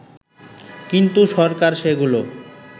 কিন্তু সরকার সেগুলো